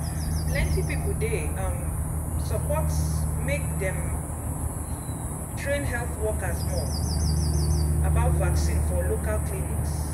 plenty people dey um support make dem um train health workers more um about vaccine for local clinics.